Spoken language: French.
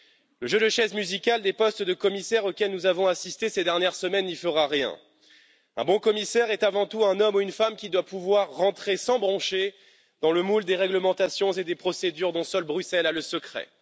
Le jeu de chaises musicales des postes de commissaires auquel nous avons assisté ces dernières semaines n'y fera rien un bon commissaire est avant tout un homme ou une femme qui doit pouvoir rentrer sans broncher dans le moule des réglementations et des procédures dont seule Bruxelles a le secret.